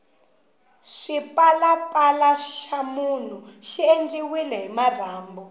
xipalapala xa munhu xi endliwile hi marhambu